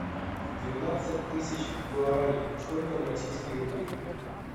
двенадцать тысяч гуарани сколько на российские рубли